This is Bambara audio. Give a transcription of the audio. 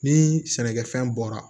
Ni sɛnɛkɛfɛn bɔra